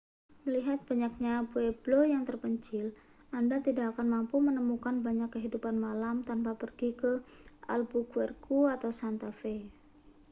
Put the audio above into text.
melihat banyaknya pueblo yang terpencil anda tidak akan mampu menemukan banyak kehidupan malam tanpa pergi ke albuquerque atau santa fe